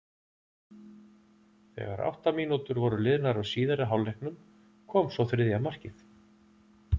Þegar átta mínútur voru liðnar af síðari hálfleiknum kom svo þriðja markið.